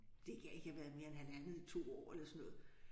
Det kan ikke have været mere end halvandet 2 år eller sådan noget